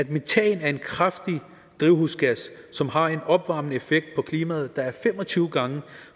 metan er en kraftig drivhusgas som har en opvarmende effekt på klimaet der er cirka fem og tyve gange